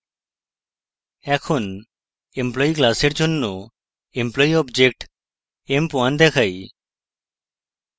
এখন employee class জন্য employee object emp1 দেখাই